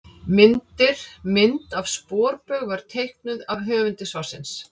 Myndir: Mynd af sporbaug var teiknuð af höfundi svarsins.